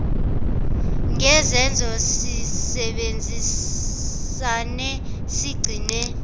ngezenzo sisebenzisane sigcine